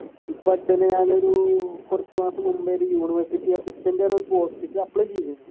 കുറച്ചു മാസം മുൻപേ ഒരു university assistant ഒരു പോസ്റ്റിക്ക് apply ചെയ്തു